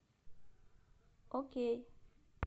окей